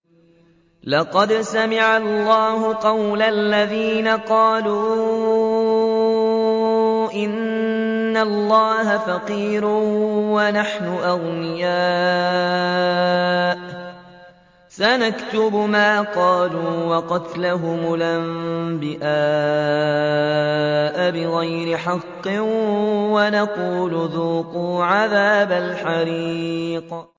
لَّقَدْ سَمِعَ اللَّهُ قَوْلَ الَّذِينَ قَالُوا إِنَّ اللَّهَ فَقِيرٌ وَنَحْنُ أَغْنِيَاءُ ۘ سَنَكْتُبُ مَا قَالُوا وَقَتْلَهُمُ الْأَنبِيَاءَ بِغَيْرِ حَقٍّ وَنَقُولُ ذُوقُوا عَذَابَ الْحَرِيقِ